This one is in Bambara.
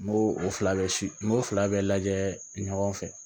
N b'o o fila bɛɛ si n k'o fila bɛɛ lajɛ ɲɔgɔn fɛ